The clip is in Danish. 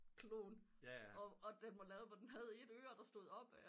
Klon og den var lavet hvor den havde et øre der stod op